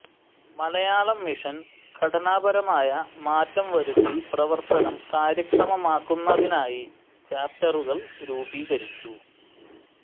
മലയാളം മിഷന് ഘടനാപരമായ മാറ്റം വരുത്തി പ്രവർത്തനം കാര്യക്ഷമമാക്കുന്നതിനായി ചാപ്റ്ററുകൾ രൂപീകരിച്ചു